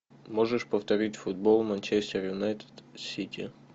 можешь повторить футбол манчестер юнайтед сити